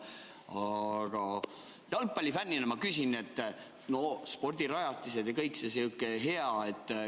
Aga jalgpallifännina ma küsin, et spordirajatised ja kõik see sihuke hea ...